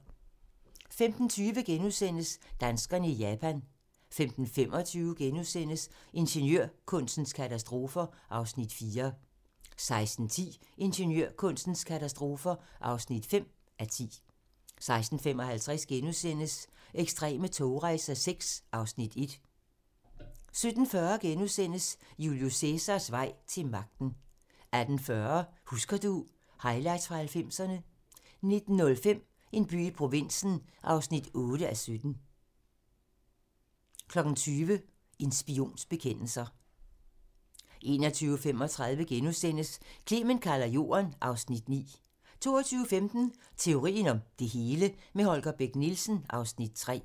15:20: Danskerne i Japan * 15:25: Ingeniørkunstens katastrofer (4:10)* 16:10: Ingeniørkunstens katastrofer (5:10) 16:55: Ekstreme togrejser VI (Afs. 1)* 17:40: Julius Cæsars vej til magten * 18:40: Husker du... Highlights fra 90'erne 19:05: En by i provinsen (8:17) 20:00: En spions bekendelser 21:35: Clement kalder Jorden (Afs. 9)* 22:15: Teorien om det hele - med Holger Bech Nielsen (Afs. 3)